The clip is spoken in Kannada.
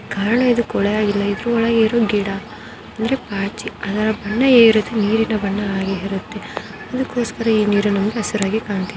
ಕಾರಣ ಇದು ಕೊಲೆಯಾಗಿಲ್ಲ. ಇದರ ಒಳಗೆ ಇರೋ ಗಿಡ ಅಂದ್ರೆ ಪಾಚಿ ಅದರ ಇರೋದು ನೀರಿನ ಬಣ್ಣ ಹಾಗೆ ಇರುತ್ತೆ ಅದಕ್ಕೋಸ್ಕರ ಈ ನೀರು ನಮಗೆ ಹಸಿರಾಗಿ ಕಾಣುತ್ತೆ.